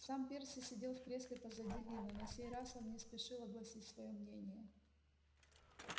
сам перси сидел в кресле позади ли но на сей раз он не спешил огласить своё мнение